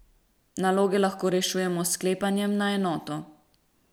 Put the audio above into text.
Naloge lahko rešujemo s sklepanjem na enoto.